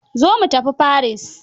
Zo mu tafi Paris.